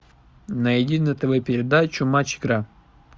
найди на тв передачу матч игра